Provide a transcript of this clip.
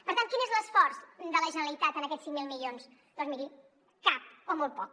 per tant quin és l’esforç de la generalitat en aquests cinc mil milions doncs miri cap o molt poc